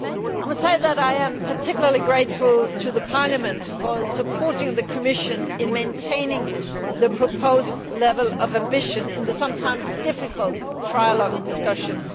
I must say that I am particularly grateful to Parliament for supporting the Commission in maintaining the proposed level of ambition in the sometimes difficult trilogue discussions.